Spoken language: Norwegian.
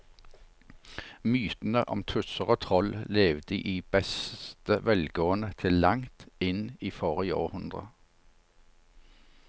Mytene om tusser og troll levde i beste velgående til langt inn i forrige århundre.